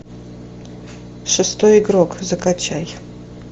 шестой игрок закачай